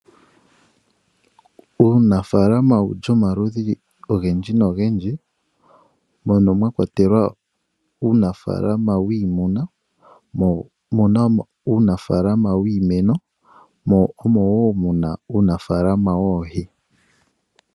Uunafalama ou li omaludhi ogendji nogendji mono mwa kwatelwa uunafalama wiimuna, mo omu na uunafalama wiimeno mo omo woo mu na uunafalama woohi.